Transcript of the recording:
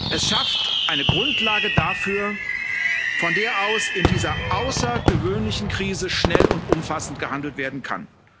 Er schafft eine Grundlage dafür, von der aus in dieser außergewöhnlichen Krise schnell und umfassend gehandelt werden kann.